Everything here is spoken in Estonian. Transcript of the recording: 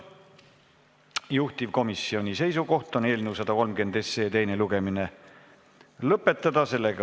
Juhtivkomisjoni seisukoht on eelnõu 130 teine lugemine lõpetada.